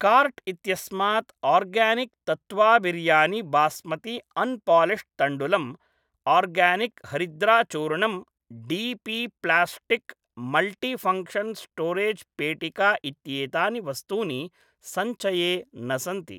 Cart इत्यस्मात् organic तत्वा biryani basmati unpolished तण्डुलम्, आर्गानिक् हरिद्राचूर्णम् D P plastic multifunction storage पेटिका इत्येतानि वस्तूनि सञ्चये न सन्ति।